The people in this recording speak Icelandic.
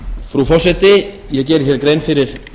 frú forseti ég geri hér grein fyrir